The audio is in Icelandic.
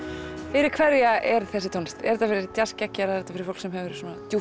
fyrir hverja er þessi tónlist er þetta fyrir djassgeggjara er þetta fyrir fólk sem hefur